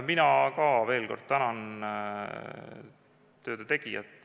Mina ka veel kord tänan töö tegijaid.